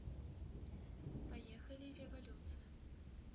поехали революция